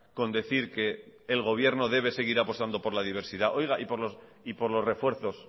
con decir que el gobierno debe seguir apostando por la diversidad y por los refuerzos